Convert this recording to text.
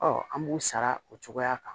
Ɔ an b'u sara o cogoya kan